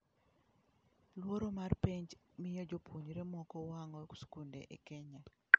Luoro mar penj miyo jopuonjre moko wang'o skunde e Kenya?